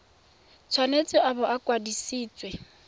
tshwanetse a bo a kwadisitswe